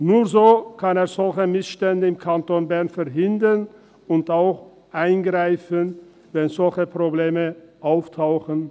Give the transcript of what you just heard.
Nur so kann er solche Missstände im Kanton Bern verhindern und auch eingreifen, wenn solche Probleme auftauchen.